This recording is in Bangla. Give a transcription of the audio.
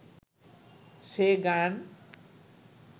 সে গান